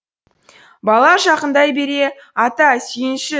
бала жақындай бере ата сүйінші